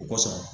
O kosɔn